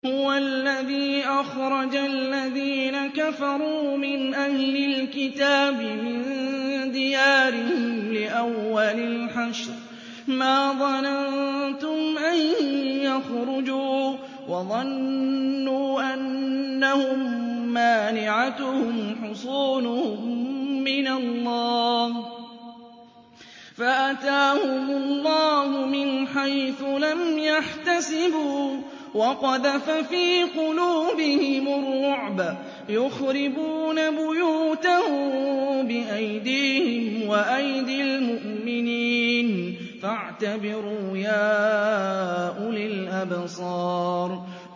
هُوَ الَّذِي أَخْرَجَ الَّذِينَ كَفَرُوا مِنْ أَهْلِ الْكِتَابِ مِن دِيَارِهِمْ لِأَوَّلِ الْحَشْرِ ۚ مَا ظَنَنتُمْ أَن يَخْرُجُوا ۖ وَظَنُّوا أَنَّهُم مَّانِعَتُهُمْ حُصُونُهُم مِّنَ اللَّهِ فَأَتَاهُمُ اللَّهُ مِنْ حَيْثُ لَمْ يَحْتَسِبُوا ۖ وَقَذَفَ فِي قُلُوبِهِمُ الرُّعْبَ ۚ يُخْرِبُونَ بُيُوتَهُم بِأَيْدِيهِمْ وَأَيْدِي الْمُؤْمِنِينَ فَاعْتَبِرُوا يَا أُولِي الْأَبْصَارِ